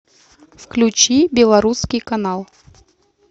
включи белорусский канал